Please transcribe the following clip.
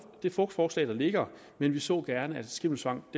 det fugtforslag der ligger men vi så gerne at skimmelsvamp